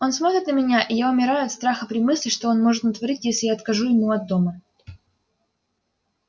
он смотрит на меня и я умираю от страха при мысли что он может натворить если я откажу ему от дома